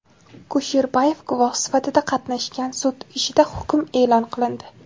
Kusherbayev guvoh sifatida qatnashgan sud ishida hukm e’lon qilindi.